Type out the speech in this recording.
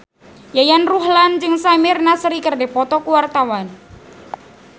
Yayan Ruhlan jeung Samir Nasri keur dipoto ku wartawan